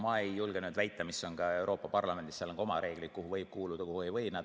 Ma ei julge väita, missugused on Euroopa Parlamendis oma reeglid, kuhu võib kuuluda ja kuhu ei või.